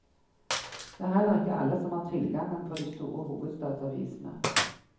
Det er heller ikke alle som har tilgangen på de store hovedstadsavisene.